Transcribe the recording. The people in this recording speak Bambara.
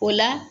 O la